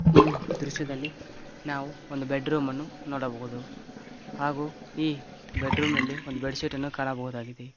ಈ ದೃಶ್ಯದಲ್ಲಿ ನಾವು ಒಂದು ಬೆಡ್ ರೂಮನ್ನು ನೋಡಬಹುದು ಹಾಗು ಈ ಬೆಡ್ ರೂಮಲ್ಲಿ ಒಂದು ಬೆಡ್ ಶೀಟ್ ಅನ್ನು ಕಾಣಬಹುದಾಗಿದೆ.